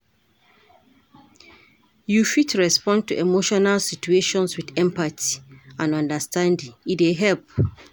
You fit respond to emotional situations with empathy and understanding, e dey help.